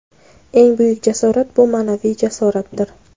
"Eng buyuk jasorat - bu ma’naviy jasoratdir".